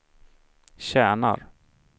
tjänar